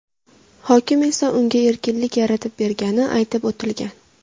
Hokim esa unga erkinlik yaratib bergani aytib o‘tilgan.